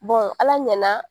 ala ɲɛna